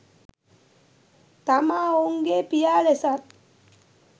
තමා ඔවුන්ගේ් පියා ලෙසත්